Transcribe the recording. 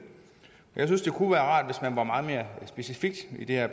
jeg synes det kunne være rart hvis man var meget mere specifik i det her